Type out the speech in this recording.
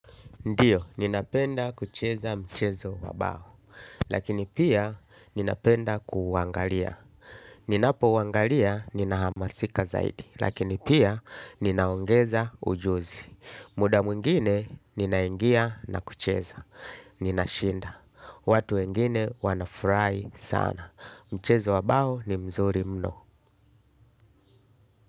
Ndiyo, ninapenda kucheza mchezo wa bao, lakini pia ninapenda kuuangalia. Ninapo uangalia ninahamasika zaidi, lakini pia ninaongeza ujuzi. Muda mwingine ninaingia na kucheza, ninashinda. Watu wengine wanafrai sana. Mchezo wa bao ni mzuri mno.